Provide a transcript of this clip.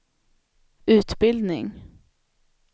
utbildning